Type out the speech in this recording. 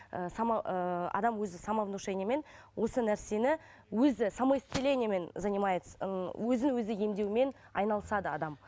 ы ыыы адам өзі самовнушениемен осы нәрсені өзі самоисцелениемен занимается ыыы өзін өзі емдеумен айналысады адам